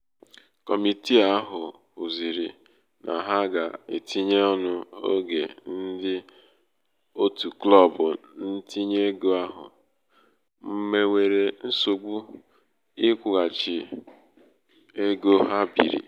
kọmitìi ahụ̀ hụ̀zị̀rị nà ha gà- etinye ọnụ̄ oge ndị òtụ klọbụ ntinye ego ahụ nwèwèrè nsògbu ịkwụ̄ghàchì nwèwèrè nsògbu ịkwụ̄ghàchì ego ha bììrì.